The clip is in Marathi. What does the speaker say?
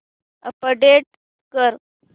अपडेट कर